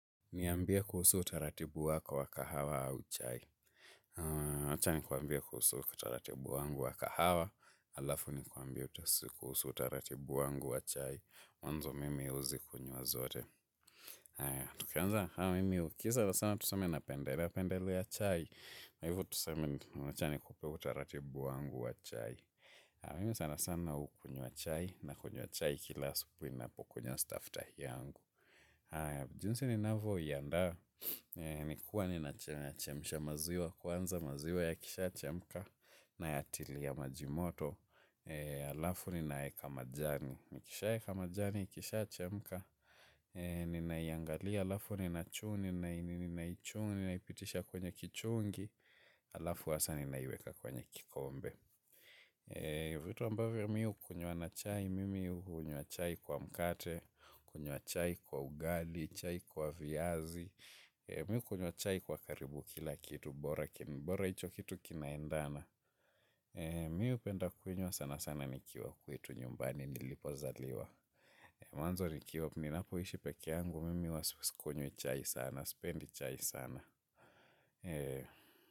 Niambie kuhusu utaratibu wako wa kahawa au chai. Acha nikwambie kuhusu utaratibu wangu wa kahawa. Alafu ni kwambie kuhusu utaratibu wangu wa chai. Mwanzo mimi huzikunywa zote. Tukianza mimi tukienda sana tuseme napendelea napendelea chai. Na hivo tuseme wacha nikupee utaratibu wangu wa chai. Mimi sana sana hukunywa chai nakunywa chai kila asubuhi ninapokunywa staftahi yangu. Jinsi ninavyo iandaa ni kuwa ninachemisha maziwa kwanza maziwa yakishaa chemka nayatilia maji moto. Alafu ninaeka majani, nikishaa eka majani, ikishaa chemka ninaiangalia alafu ninaichu ninaipitisha kwenye kichungi. Alafu hasa ninaiweka kwenye kikombe. Vitu ambavyo mi hukunywa na chai, mimi hunywa chai kwa mkate, kunywa chai kwa ugali, chai kwa viazi. Mimi hukunywa chai kwa karibu kila kitu, bora hicho kitu kinaendana. Mimi hupenda kunywa sana sana nikiwa kwetu nyumbani nilipozaliwa. Mwanzo nikiwa ninapoishi peke yangu, mimi huwa sikunywi chai sana, sipendi chai sana.